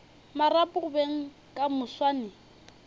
marapo go beng ka moswane